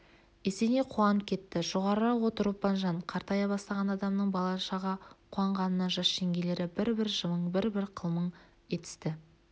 есеней қуанып кетті -жоғарырақ отыр ұлпанжан қартая бастаған адамның балаша қуанғанына жас жеңгелері бір-бір жымың бір-бір қылмың етісті